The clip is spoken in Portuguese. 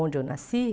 Onde eu nasci?